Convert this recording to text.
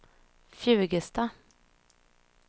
Fjugesta